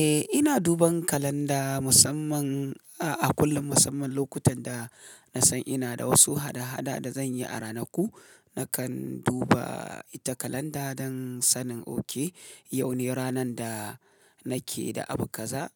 Eh ina duban kalanda musamman a kullum musamman lokutan da na san ina da wasu hada-hada da zan yi a ranaku. Nakan duba ita kalanda dan sanin oke yaune ranan da nake da abu kaza,